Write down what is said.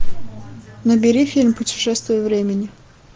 набери фильм путешествие времени